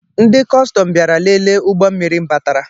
Ndị cọstọm bịara lele ụgbọ mmiri batara